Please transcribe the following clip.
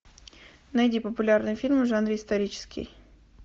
найди популярные фильмы в жанре исторический